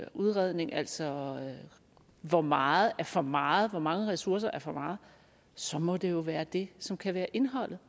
udredning altså hvor meget er for meget hvor mange ressourcer der er for meget så må det jo være det som kan være indholdet